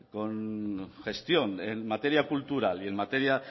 con gestión en materia cultural y en materia